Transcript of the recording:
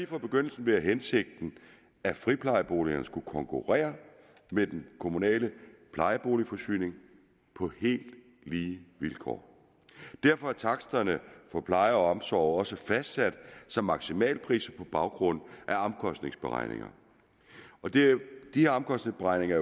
fra begyndelsen været hensigten at friplejeboligerne skulle konkurrere med den kommunale plejeboligforsyning på helt lige vilkår derfor er taksterne for pleje og omsorg også fastsat som maksimalpriser på baggrund af omkostningsberegninger disse omkostningsberegninger